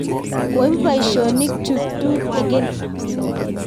koibu boisionikchu tutegen